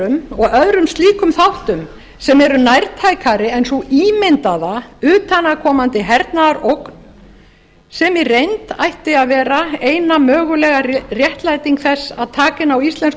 veðurhamförum og öðrum slíkum þáttum sem eru nætækari en sú ímyndaða utan að komandi hernaðarógn sem í reynd ætti að vera eina mögulega réttlæting þess að taka inn á íslensku